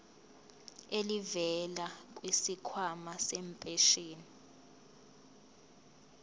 elivela kwisikhwama sempesheni